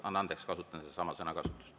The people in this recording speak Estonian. Anna andeks, kasutan sedasama sõna.